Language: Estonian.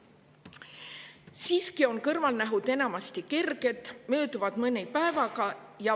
Siiski on kõrvalnähud enamasti kerged, mööduvad mõne päevaga.